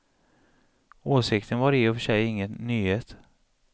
Åsikten var i och för sig ingen nyhet.